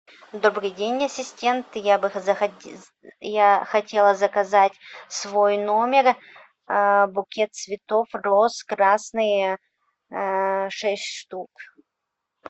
добрый день ассистент я бы хотела заказать в свой номер букет цветов роз красные шесть штук